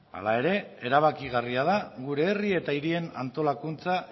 hala ere erabakigarria da gure herri eta hirien antolakuntza